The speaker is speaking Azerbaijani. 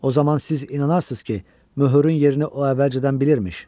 O zaman siz inanarsınız ki, möhürün yerini o əvvəlcədən bilirmiş.